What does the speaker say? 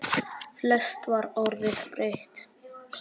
Flest var orðið breytt.